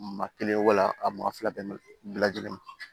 Maa kelen wa a maa fila bɛnnen bɛ lajɛlen ma